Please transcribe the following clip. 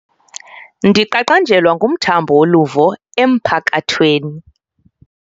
Ndiqaqanjelwa ngumthambo woluvo emphakathweni.